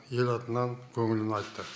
ел атынан көңілін айтты